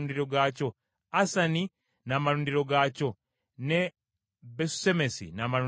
Asani n’amalundiro gaakyo, ne Besusemesi n’amalundiro gaakyo.